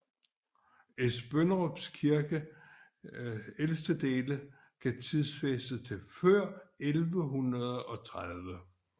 Esbønderup Kirkes ældste dele kan tidsfæstes til før 1130